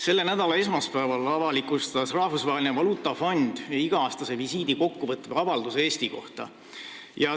Selle nädala esmaspäeval avalikustas Rahvusvaheline Valuutafond iga-aastast visiiti kokkuvõtva avalduse Eesti kohta.